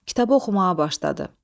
Kitabı oxumağa başladı.